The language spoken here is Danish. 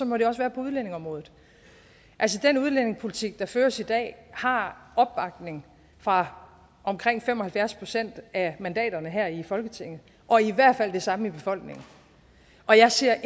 må det også være på udlændingeområdet altså den udlændingepolitik der føres i dag har opbakning fra omkring fem og halvfjerds procent af mandaterne her i folketinget og i hvert fald det samme i befolkningen og jeg ser